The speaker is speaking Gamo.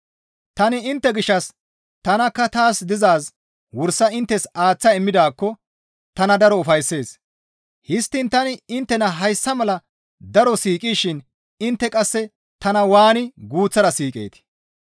Tani intte gishshas tanakka taas dizaaz wursa inttes aaththa immidaakko tana daro ufayssees; histtiin tani inttena hayssa mala daro siiqishin intte qasse tana waani guuththara siiqeetii?